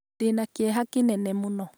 ndĩ na kĩeha kĩnene mũno